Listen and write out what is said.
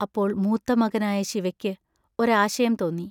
അപ്പോൾ മൂത്ത മകനായ ശിവയ്ക്ക് ഒരാശയം തോന്നി.